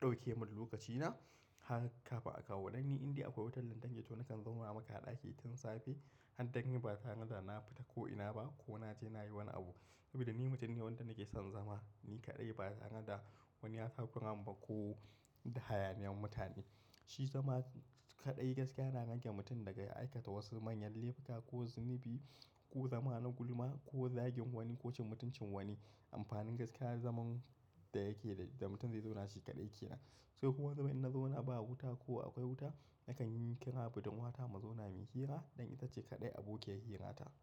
ɗauke mini lokacina. Haka fa akawo danni in dai akwai wutar lantarki to nakan zauna maka a ɗaki tun safe har daddare ba zan yarda na fita ko ina ba ko na je na yi wani abu. Saboda ni mutum ne wanda nake son zama, ni kaɗai ba tareda wani ya takura min ba ko da hayaniyar mutane. Shi zama kaɗai gaskiya na rage mutum daga aikata wasu manyan laifuka ko zunubi ko zama na gulma ko zagin wani ko cin mutuncin wani. Amfanin gaskiya zaman da yake da mutum zai zauna shi kaɗai ke nan. Sai kuma wani zubin in na zauna ba wuta ko akwai wuta nakan yi kira budurwata mu zauna muyi hira ɗan ita ce kaɗai abokiyar hira ta.